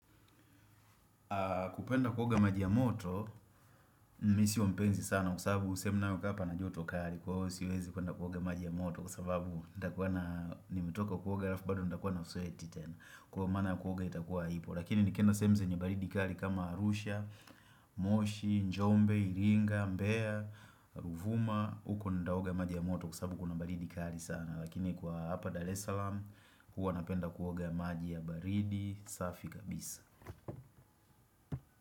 Kupenda kuoga maji ya moto, mimi sio mpenzi sana kwasababu sehemu ninayokaa pana joto kali siwezi kuenda kuoga maji ya moto kwasababu nitakua na nimetoka kuoga halafu bado nitakua na sweti tena. Kwa maana kuoga itakuwa ipo lakini nikienda sehemu zenye baridi kali kama Arusha, moshi, Njombe, Ilinga, Mbea, Ruvuma, huko nitaoga maji ya moto kwasababu kuna baridi kali sana lakini kwa hapa Dar es Salaam huwa napenda kuoga maji ya baridi, safi kabisa.